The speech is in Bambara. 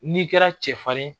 N'i kɛra cɛfarin ye